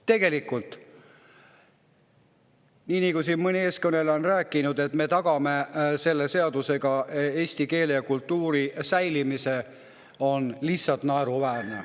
Tegelikult see, mida mõni eelkõneleja on rääkinud, et me tagame selle seadusega eesti keele ja kultuuri säilimise, on lihtsalt naeruväärne.